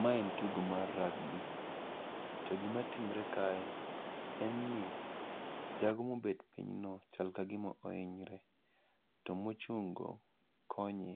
Ma en tugo mar rugby, to gima timre kae en ni jago mobet piny no chal ka gima ohinyre to mochung' go konye.